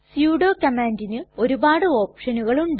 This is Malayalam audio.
സുഡോ കമ്മാണ്ടിനു ഒരുപാട് ഓപ്ഷനുകൾ ഉണ്ട്